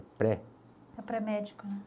pré. É pré-médico, né?